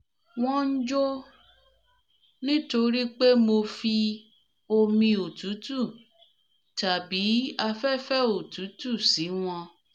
wọ́n ń jó nítorí pé mo fi omi òtútù tàbí afẹ́fẹ́ òtútù sí wọn